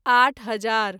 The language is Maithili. आठ हजार